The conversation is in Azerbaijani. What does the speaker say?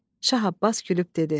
Şah Abbas gülüb dedi: